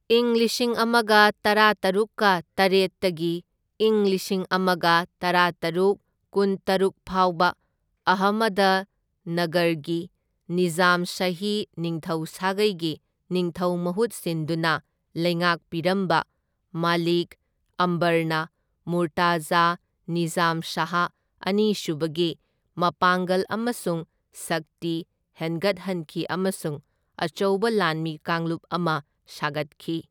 ꯏꯪ ꯂꯤꯁꯤꯡ ꯑꯃꯒ ꯇꯔꯥꯇꯔꯨꯛꯀ ꯇꯔꯦꯠꯇꯒꯤ ꯢꯪ ꯂꯤꯁꯤꯡ ꯑꯃꯒ ꯇꯔꯥꯇꯔꯨꯛ ꯀꯨꯟꯇꯔꯨꯛ ꯐꯥꯎꯕ ꯑꯍꯃꯗꯅꯒꯔꯒꯤ ꯅꯤꯖꯥꯝꯁꯥꯍꯤ ꯅꯤꯡꯊꯧ ꯁꯥꯒꯩꯒꯤ ꯅꯤꯡꯊꯧ ꯃꯍꯨꯠ ꯁꯤꯟꯗꯨꯅ ꯂꯩꯉꯥꯛꯄꯤꯔꯝꯕ, ꯃꯂꯤꯛ ꯑꯝꯕꯔꯅ ꯃꯨꯔꯇꯖꯥ ꯅꯤꯖꯥꯝ ꯁꯥꯍ ꯑꯅꯤꯁꯨꯕꯒꯤ ꯃꯄꯥꯡꯒꯜ ꯑꯃꯁꯨꯡ ꯁꯛꯇꯤ ꯍꯦꯟꯒꯠꯍꯟꯈꯤ ꯑꯃꯁꯨꯡ ꯑꯆꯧꯕ ꯂꯥꯟꯃꯤ ꯀꯥꯡꯂꯨꯞ ꯑꯃ ꯁꯥꯒꯠꯈꯤ꯫